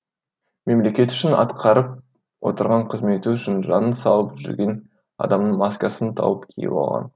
мемлекет үшін атқарып отырған қызметі үшін жанын салып жүрген адамның маскасын тауып киіп алған